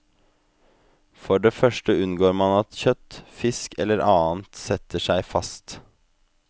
For det første unngår man at kjøtt, fisk eller annet setter seg fast.